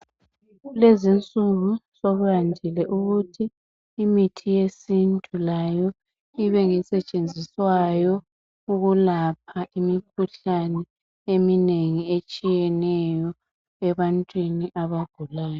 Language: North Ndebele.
Kulezi insuku sokuyandile ukuthi imithi yesintu layo ibe ngesetshenziswayo ukulapha imikhuhlane eminengi etshiyeneyo ebantwini abagulayo.